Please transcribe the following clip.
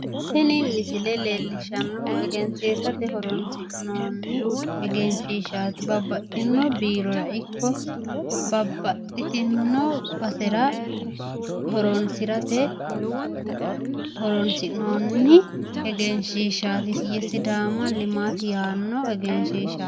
Tini misile leellishshannohu egensiisate horonsi'noonni egenshiishshaati. babbaxxino biirora ikko babbaxxitino basera horonsirate horonsi'noonni egenshiishshati ye sidaama limaati yaanno egenshiishshaati.